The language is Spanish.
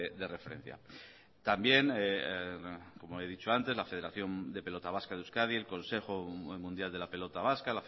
de referencia también como he dicho antes la federación de pelota vasca de euskadi el consejo mundial de la pelota vasca